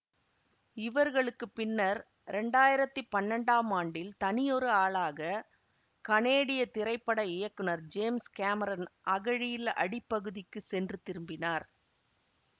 இவர்களுக்கு பின்னர் இரண்டாயிரத்தி பன்னெண்டாம் ஆண்டில் தனியொரு ஆளாக கனேடிய திரைப்பட இயக்குனர் ஜேம்ஸ் கேமரன் அகழியின் அடிப்பகுதிக்குச் சென்று திரும்பினார்